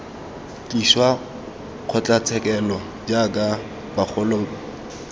tliswa kgotlatshekelo jaaka bagolo mme